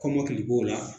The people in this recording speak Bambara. Kɔmɔkili b'o la